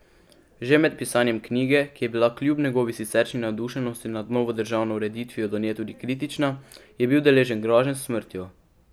Že med pisanjem knjige, ki je bila kljub njegovi siceršnji navdušenosti nad novo državno ureditvijo do nje tudi kritična, je bil deležen groženj s smrtjo.